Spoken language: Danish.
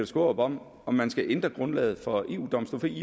skaarup om om man skal ændre grundlaget for eu domstolen